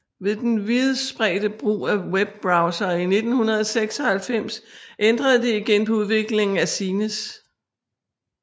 Ved den vidtspredte brug af web browsere i 1996 ændrede det igen på udviklingen af zines